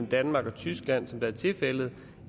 danmark og tyskland som det er tilfældet